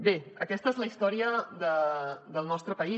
bé aquesta és la història del nostre país